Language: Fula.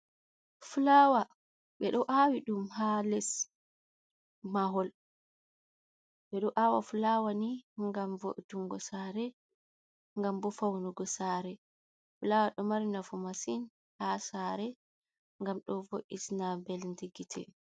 Fulawa ɓeɗo awi ɗum ha les mahol. Ɓeɗo awa fulawa ni ngam vo, utungo sare, ngam bo fawnugo sare, fulawa ɗo mari nafu masin ha sare, ngam ɗo vo, ina nbeldi gite.